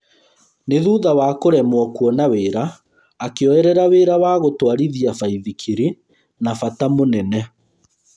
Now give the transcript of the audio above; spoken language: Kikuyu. Nĩ thutha wa kũremwo kuona wĩra akĩoerera wĩra wa gũtwarithia baithikiri na bata mũnene